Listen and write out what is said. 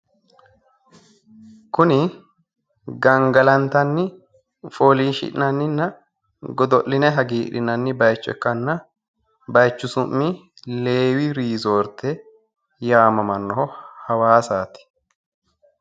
Kuni gangalaantanni foolishshi'nanninna godo'linyi hagiidhinanni bayicho ikkana bayichu su'mi leewi rezoorte hawaasaati.